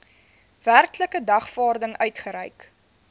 werklike dagvaarding uitgereik